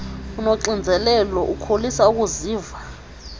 unoxinzelelo ukholisa ukuziva